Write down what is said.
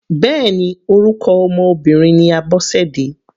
Bẹ́ẹ̀ni orúkọ ọmọ Obìnrin ní Abosede.